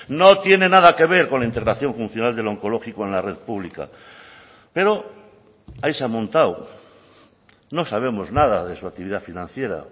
no tiene nada que ver con la integración funcional del oncológico en la red pública pero ahí se ha montado no sabemos nada de su actividad financiera